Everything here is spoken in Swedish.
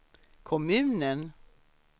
kommunen